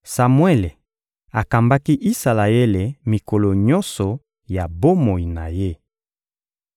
Samuele akambaki Isalaele mikolo nyonso ya bomoi na ye.